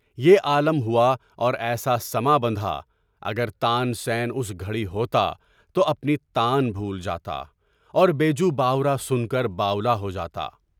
یہ عالم ہوا اور ایسا سماں بندھا، کہ اگر تان سین اس گھڑی ہوتا، تو اپنی تان بھول جاتا، اور بیجو باؤراس سن کر باؤلا ہو جاتا۔